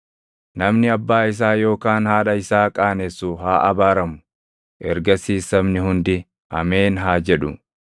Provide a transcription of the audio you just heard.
“Namni abbaa isaa yookaan haadha isaa qaanessu haa abaaramu.” Ergasiis sabni hundi, “Ameen!” haa jedhu.